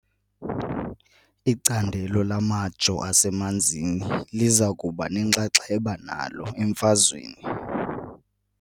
Icandelo lamajoo asemanzini liza kuba nenxaxheba nalo emfazweni .